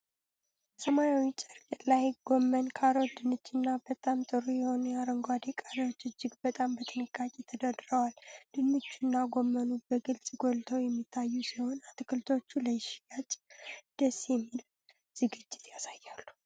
ሰማያዊ ጨርቅ ላይ ጎመን፣ ካሮት፣ ድንችና በጣም ጥሩ የሆኑ አረንጓዴ ቃሪያዎች እጅግ በጣም በጥንቃቄ ተደርድረዋል። ድንቹና ጎመኑ በግልጽ ጎልተው የሚታዩ ሲሆን፣ አትክልቶቹ ለሽያጭ ደስ የሚል ዝግጅት ያሳያሉ።